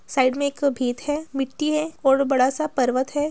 Side मे एक भीत है मिट्टी हैऔर बड़ा-सा पर्वत है।